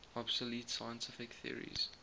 obsolete scientific theories